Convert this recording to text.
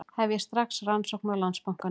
Hefja strax rannsókn á Landsbankanum